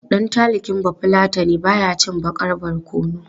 Ɗan talking Bafulatani ba ya cin baƙar barkono.